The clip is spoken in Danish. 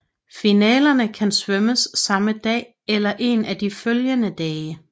Finalerne kan svømmes samme dag eller en af de følgende dage